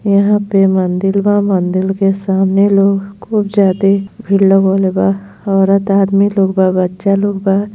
यहाँ पे मंदिर बा मंदिर के सामने लोग खूब ज्यादा भीड़ लगौले बा औरत आदमी लोग बा बच्चा लोग बा।